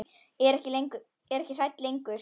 Er ekki hrædd lengur.